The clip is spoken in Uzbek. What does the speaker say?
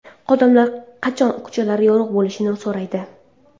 Odamlar qachon ko‘chalari yorug‘ bo‘lishini so‘raydi.